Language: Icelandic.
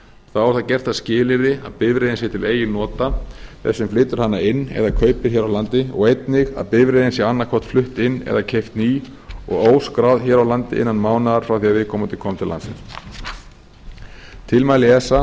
þá er það gert að skilyrði að bifreiðin sé til eigin nota þess sem flytur hana inn eða kaupir hér á landi og einnig að bifreiðin sé annaðhvort flutt inn eða keypt ný og óskráð hér á landi innan mánaðar frá því að viðkomandi kom til landsins tilmæli esa